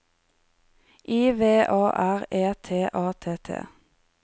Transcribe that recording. I V A R E T A T T